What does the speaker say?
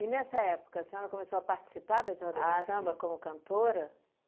nessa época, a senhora começou a participar das rodas de samba como cantora?